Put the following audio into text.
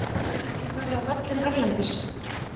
Hafið þið farið á völlinn erlendis?